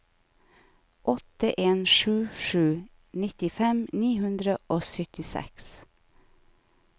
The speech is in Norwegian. åtte en sju sju nittifem ni hundre og syttiseks